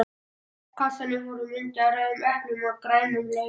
kassanum voru myndir af rauðum eplum og grænum laufum.